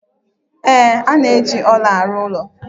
Ee, a na-eji ọla arụ ọrụ.